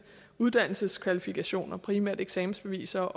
uddannelseskvalifikationer primært eksamensbeviser